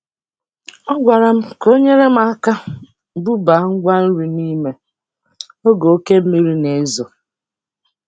Ọ gwara m ka o nyere m aka bubaa ngwa nri n'ime oge oke mmiri na-ezo.